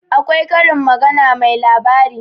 akwai Karin magana mai labari